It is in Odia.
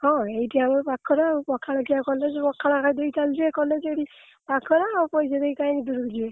ହଁ ଏଇଠି ଆମର ପାଖରେ ଆଉ ପଖାଳ ଖିଆ college ପଖାଳ ଖାଇଦେଇ ଚାଲିଯିବି college ଏଇଠି ପାଖରେ ଆଉ ପଇସା ଦେଇ କାଇଁ ସେଠି ମୁଁ ଯିବି।